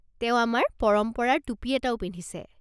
তেওঁ আমাৰ পৰম্পৰাৰ টুপী এটাও পিন্ধিছে।